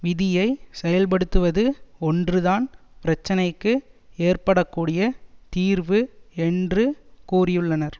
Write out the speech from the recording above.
விதியை செயல்படுத்துவது ஒன்றுதான் பிரச்சினைக்கு ஏற்கப்படக்கூடிய தீர்வு என்று கூறியுள்ளனர்